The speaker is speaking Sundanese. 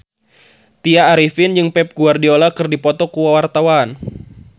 Tya Arifin jeung Pep Guardiola keur dipoto ku wartawan